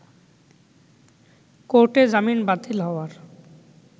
কোর্টে জামিন বাতিল হওয়ার